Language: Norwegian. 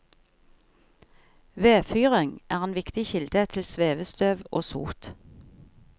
Vedfyring er en viktig kilde til svevestøv og sot.